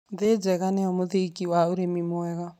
Thĩ njega nĩyo mũthingi wa ũrĩmi mwega.